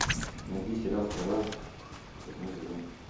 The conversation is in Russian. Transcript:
найди сериал стрела восьмой сезон